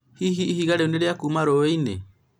hihi ihiga rĩu nĩ rĩa kuma rũĩinĩ